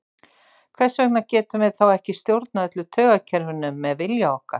Hvers vegna getum við þá ekki stjórnað öllu taugakerfinu með vilja okkar?